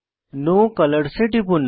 no colours এ টিপুন